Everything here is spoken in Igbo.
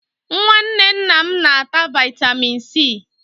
Nwanne nna m na-ata vaịtamịn C.